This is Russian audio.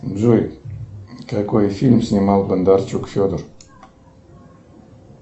джой какой фильм снимал бондарчук федор